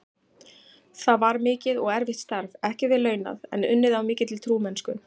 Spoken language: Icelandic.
Það var mikið og erfitt starf, ekki vel launað, en unnið af mikilli trúmennsku.